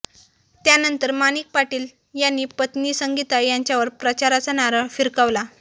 त्यानंतर माणिक पाटील यांनी पत्नी संगीता यांच्यावर प्रचाराचा नारळ भिरकावला